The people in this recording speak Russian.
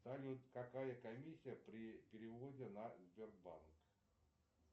салют какая комиссия при переводе на сбербанк